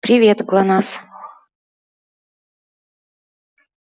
привет глонассс